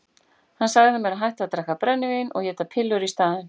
Hann sagði mér að hætta að drekka brennivín og éta pillur í staðinn.